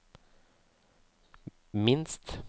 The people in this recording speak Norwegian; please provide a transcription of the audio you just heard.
minst